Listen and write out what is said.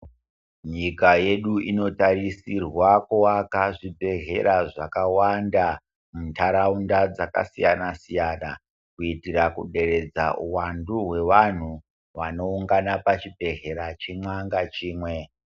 Nyika yedu inotarisirwa kuvaka zvibhedhlera zvakawanda muntaraunda dzakasiyana siyana kuitira kuderedza uwandu hweantu wanoungana pachibhedhlera chimwa ngachimwe.